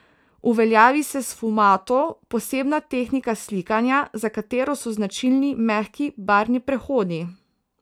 Uveljavi se sfumato, posebna tehnika slikanja, za katero so značilni mehki barvni prehodi.